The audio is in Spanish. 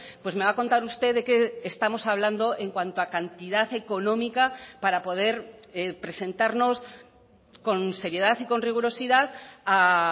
pues me va a contar usted de qué estamos hablando en cuanto a cantidad económica para poder presentarnos con seriedad y con rigurosidad a